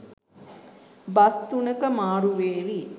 bus තුනක මාරු වෙවී